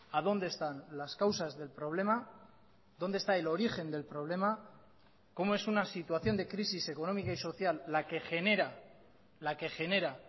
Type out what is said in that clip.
a dónde están las causas del problema dónde está el origen del problema como es una situación de crisis económica y social la que genera la que genera